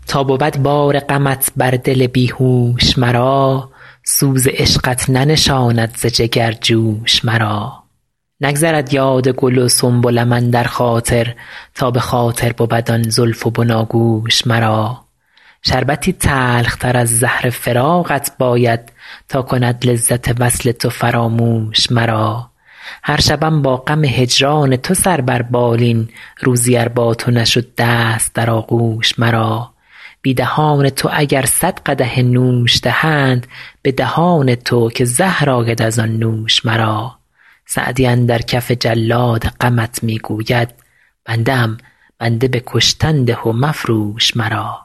تا بود بار غمت بر دل بی هوش مرا سوز عشقت ننشاند ز جگر جوش مرا نگذرد یاد گل و سنبلم اندر خاطر تا به خاطر بود آن زلف و بناگوش مرا شربتی تلختر از زهر فراقت باید تا کند لذت وصل تو فراموش مرا هر شبم با غم هجران تو سر بر بالین روزی ار با تو نشد دست در آغوش مرا بی دهان تو اگر صد قدح نوش دهند به دهان تو که زهر آید از آن نوش مرا سعدی اندر کف جلاد غمت می گوید بنده ام بنده به کشتن ده و مفروش مرا